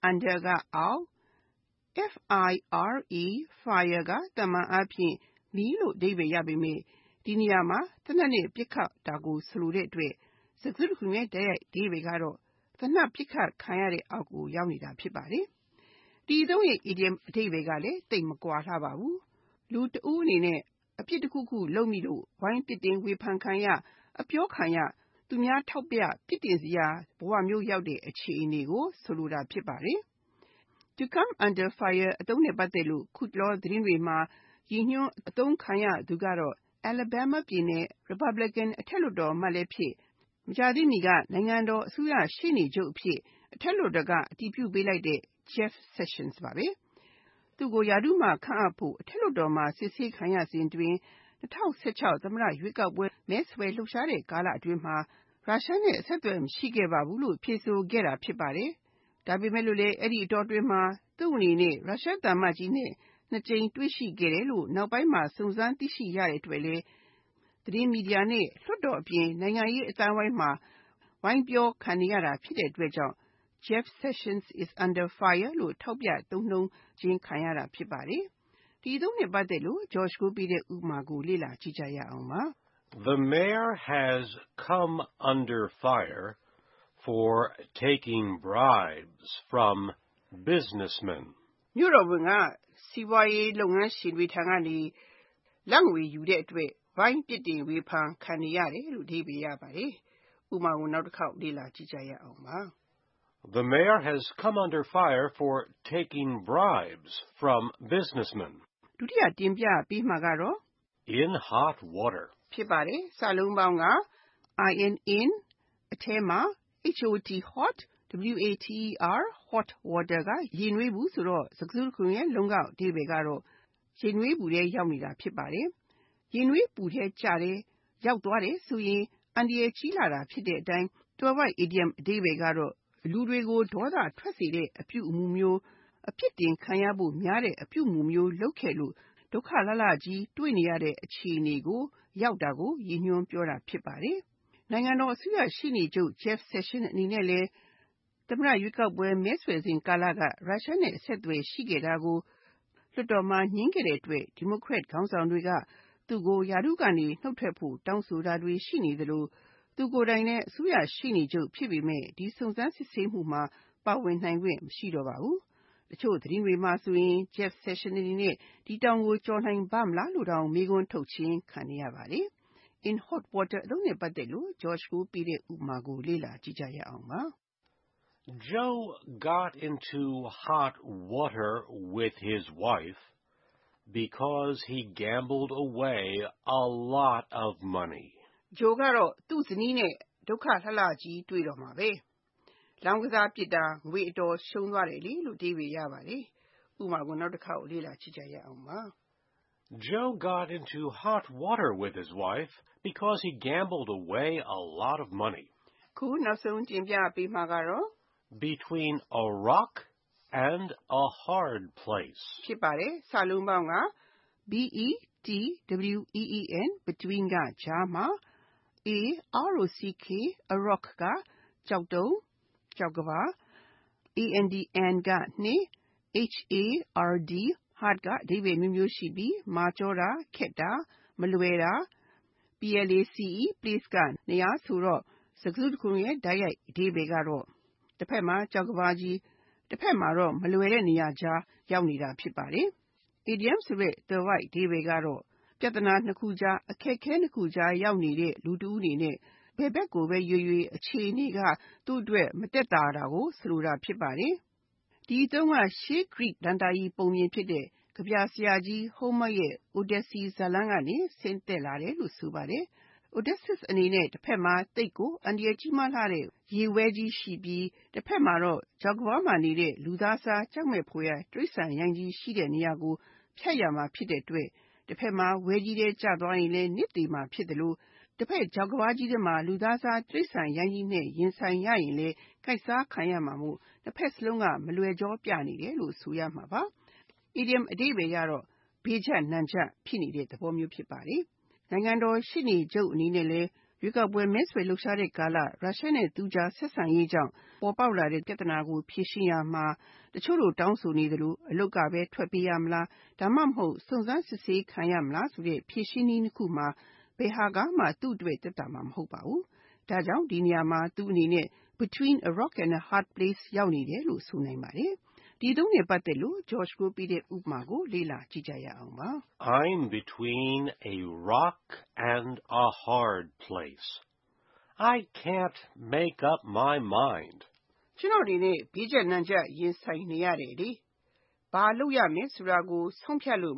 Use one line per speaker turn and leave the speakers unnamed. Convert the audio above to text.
Under (အောက်)၊ fire က သာမန်အားဖြင့် မီး လို့ အဓိပ္ပါယ်ရပေမယ့် ဒီနေရာမှာ သေနတ်နဲ့ ပစ်ခတ်တာကို ဆိုလိုတဲ့အတွက် စကားစုတခုလုံးရဲ့ တိုက်ရိုက်အဓိပ္ပါယ်က သေနတ်ပစ်ခတ်ခံရတဲ့အောက်ကို ရောက်နေတာ ဖြစ်ပါတယ်။ ဒီအသုံးရဲ့ အီဒီယံအဓိပ္ပါယ်က လူတဦးအနေနဲ့ အပြစ်တခုခု လုပ်မိလို့ ဝိုင်းပြစ်တင်ဝေဖန်ခံရ၊ အပြောခံရ၊ သူများထောက်ပြ ပြစ်တင်ခံစရာ ဘဝမျိုးရောက်တဲ့ အခြေအနေကို ဆိုလိုတာ ဖြစ်ပါတယ်။ Under fire အသုံးနဲ့ ပတ်သက်လို့ အခုတလော သတင်းတွေမှာ ရည်ညွှန်းအသုံးခံရသူကတော့ Alabama ပြည်နယ် ရီပတ်ဘလင်ကန် အထက်လွှတ်တော်အမတ်လည်းဖြစ်၊ မကြာသေးမီက နိုင်ငံတော်အစိုးရရှေ့နေချုပ်အဖြစ် အထက်လွှတ်တော်က အတည်ပြုပေးလိုက်တဲ့ Jeff Sessions ဖြစ်ပါတယ်။ သူ့ကို ရာထူးမှာ ခန့်အပ်ဖို့ အထက်လွှတ်တော်မှာ ကြားနာစစ်ဆေးမှု အတွင်း ၊ သူက၂၀၁၆ သမ္မတရွေးကောက်ပွဲ မဲဆွယ်ကာလတုံးက ရုရှားနဲ့ အဆက်အသွယ်မရှိခဲ့ပါဘူးလို့ ထွက်ဆိုခဲ့တာ ဖြစ်ပါတယ်။ ဒါပေမဲ့ အဲဒီအချိန်တုံးက သူ့အနေနဲ့ ရုရှားသံအမတ်ကြီးနဲ့ နှစ်ကြိမ်တွေ့ ခဲ့တယ်လို့ နောက်ပိုင်းမှာ စုံစမ်းသိရှိရတဲ့အတွက်လည်း သတင်းမီဒီယာနဲ့ လွှတ်တော်အပြင် နိုင်ငံရေးအသိုင်းအဝိုင်းမှာ ဝိုင်းပြောခံခဲ့ရတာဖြစ်တဲ့အတွက် “Jeff Sessions is under fire.” လို့ ထောက်ပြသုံးနှုန်းခြင်းခံခဲ့ရတာ ဖြစ်ပါတယ်။ ဒီအသုံးအနှုန်း ဥပမာကို လေ့လာကြည့်ရအောင်ပါ။
The Mayor has come under fire for taking bribes from business tycoons.
မြို့တော်ဝန်က စီးပွားရေးလုပ်ငန်းရှင်ကြီးတွေထံကနေ လာဘ်ငွေတွေယူတဲ့အတွက် ဝိုင်းပြစ်တင်ဝေဖန်ခံနေရတယ်။ (၂)
In hot water
In (အထဲမှာ)၊ hot water (ရေနွေးပူ) ဆိုတော့ စကားစုတခုလုံးရဲ့ လုံးကောက်အဓိပ္ပါယ်ကတော့ ရေနွေးပူထဲ ရောက်နေတာ ဖြစ်ပါတယ်။ ရေနွေးပူထဲကျတယ်၊ ရောက်သွားတယ်ဆိုရင် အန္တရာယ်ကြီးလှတာ ဖြစ်တဲ့အတိုင်း သွယ်ဝိုက်အီဒီယံအဓိပ္ပါယ်က လူတွေကို ဒေါသထွက်စေတဲ့ အပြုအမှုမျိုး၊ အပြစ်တင်ခံရဖို့များတဲ့ အပြုအမှုမျိုး လုပ်ခဲ့လို့ ဒုက္ခလှလှကြီး တွေ့နေရတဲ့ အခြေအနေရောက်တာကို ရည်ညွှန်းပြောတာ ဖြစ်ပါတယ်။ နိုင်ငံတော်အစိုးရရှေ့နေချုပ် Jeff Sessions အနေနဲ့ သမ္မတရွေးကောက်ပွဲ မဲဆွယ်စဉ်ကာလက ရုရှားနဲ့ အဆက်အသွယ်ရှိခဲ့တာကို လွှတ်တော်မှာ ငြင်းခဲ့တဲ့အတွက် ဒီမိုကရက်ခေါင်းဆောင်တွေက သူကို ရာထူးကနေ နုတ်ထွက်ဖို့ တောင်းဆိုတာတွေ ရှိသလို၊ သူကိုယ်တိုင်လည်း အစိုးရရှေ့နေချုပ် ဖြစ်ပေမယ့် ဒီစုံစမ်းစစ်ဆေးမှုမှာ ပါဝင်နိုင်ခွင့် မရှိတော့ပါဘူး။ တချို့သတင်းတွေမှာဆိုရင် Jeff Sessions အနေနဲ့ ဒီတောင်ကို ကျော်နိုင်ပါ့မလားဆိုတဲ့ မေးခွန်းထုတ်ခြင်းခံခဲ့ရပါတယ်။ In hot water အသုံးနဲ့ ပတ်သက်တဲ့ ဥပမာကိုလေ့လာကြည့်ရအောင်ပါ
။ Joe got into hot water with his wife because he lost a lot of money
in gambling. Joe တော့သူ့ဇနီးနဲ့ ဒုက္ခလှလှကြီး တွေ့တော့တာဘဲ။ သူလောင်းကစားပစ်လို့ ငွေအတော်ရှုံးသွားခဲ့တယ်။ (၃)
Between a rock and a hard place
Between (ကြားမှာ) rock (ကျောက်တုံး)၊ and (နှင့်)၊ hard (မာကျောတာ၊ ခက်တာ၊ မလွယ်တာ)၊ place (နေရာ) ဆိုတော့ စကားစုတခုလုံးရဲ့ တိုက်ရိုက်အဓိပ္ပါယ်က တဘက်မှာ ကျောက်တုံးကြီး၊ ကျန်တဘက်မှာ မလွယ်တဲ့နေရာကြား ရောက်နေတာ ဖြစ်ပါတယ်။ အီဒီယံသွယ်ဝိုက်အဓိပ္ပါယ်က ပြဿနာနှစ်ခုကြား၊ အခက်အခဲနှစ်ခုကြား ရောက်နေတဲ့ လူတဦးအနေနဲ့ ဘယ်ဖက်ကိုပဲရွေးရွေး အခြေအနေက သူ့အတွက် မသက်သာတာကို ဆိုလိုတာ ဖြစ်ပါတယ်။ ဒီအသုံးက ရှေးဂရိဒဏ္ဍာရီပုံပြင်ဖြစ်တဲ့ ကဗျာဆရာကြီး Homer ရဲ့ Odyssey ဇာတ်လမ်းကနေ ဆင်းသက်လာတယ်လို့ ဆိုပါတယ်။ Odysseus အနေနဲ့ တဘက်မှာ သိပ်ကိုအန္တရာယ် ကြီးမားလှတဲ့ ရေဝဲကြီးရှိပြီး၊ ကျန်တဘက်မှရှိတဲ့ ချောက်ကမ်းပါးမှာတော့ ကြောက်မက်ဖွယ်ရာဘီးလူး ရှိတဲ့နေရာကို ဖြတ်ရမှာ ဖြစ်တဲ့အတွက် တဘက်မှာ ဝဲကြီးထဲကျသွားရင်လဲ သေမှာဖြစ်သလို၊ တဘက်ချောက်ကမ်းပါးကြီးထဲမှာ ဘီလူးကြီးနဲ့ ရင်ဆိုင်ရရင်လဲ ကိုက်စားခံရမှာမို့ နှစ်ဘက်စလုံးက မလွယ်ကြောပြနေတယ်လို့ ဆိုရမှာပါ။ အီဒီယံအဓိပ္ပါယ်ကတော့ သိပ်ကိုဘေးကျပ်နံကျပ် ဖြစ်နေတဲ့သဘောမျိုး ဖြစ်ပါတယ်။ နိုင်ငံတော်ရှေ့နေချုပ် Jeff Sessions အနေနဲ့လည်း ရွေးကောက်ပွဲမဲဆွယ်လှုပ်ရှားတဲ့ကာလ ရုရှားနဲ့သူ့ကြား ဆက်ဆံရေးကြောင့်ပေါ်ပေါက်လာတဲ့ ပြဿနာကို ဖြေရှင်းရာမှာ တချို့တောင်းဆိုနေသလို အလုပ်ကပဲ ထွက်ပေးရမလား၊ ဒါမှမဟုတ် စုံစမ်းစစ်ဆေးရေးခံရမလားဆိုတဲ့ ဖြေရှင်းနည်းနှစ်ခုမှာ ဘယ်ဟာကမှ သူ့အတွက် သက်သာမှာ မဟုတ်ပါဘူး။ ဒါကြောင့် ဒီနေရာမှာ သူ့အနေနဲ့ Between a rock and a hard place ရောက်နေတယ်လို့ ဆိုနိုင်ပါတယ်။ ဒီအသုံးနဲ့ ပတ်သက်တဲ့ ဥပမာကို လေ့လာကြည့်ရအောင်ပါ
။ I am between a rock and a hard place. It is very hard to make up my mind. ကျနော့်သိပ်ကို
ဘေးကျပ်နံကျပ်နဲ့ရင်ဆိုင်နေရတယ်။ ဘာလုပ်ရမယ်ဆိုတာကို ဆုံးဖြတ်ဖို့